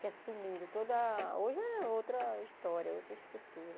que assumiram toda a... Hoje é outra história, outra estrutura.